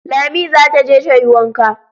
Lami za ta je tayi Wanka